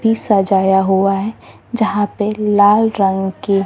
भी सजाया हुआ है जहा पे लाल रंग के।